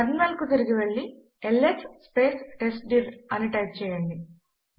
terminal కు తిరిగి వెళ్ళి ల్స్ టెస్ట్డిర్ అని టైప్ చేయండి